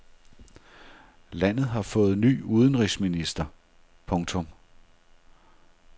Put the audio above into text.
Landet har fået ny udenrigsminister. punktum